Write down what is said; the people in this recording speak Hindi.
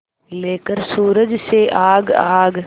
लेकर सूरज से आग आग